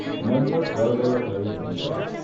મન્મથ ગળગળો થઇ રડી પડ્યો.